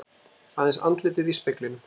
Aðeins andlitið í speglinum.